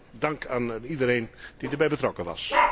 Mijn dank aan iedereen die erbij betrokken was.